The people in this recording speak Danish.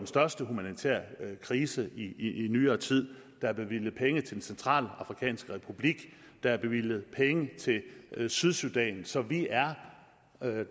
største humanitære krise i nyere tid der er bevilget penge til den centralafrikanske republik der er bevilget penge til sydsudan så vi er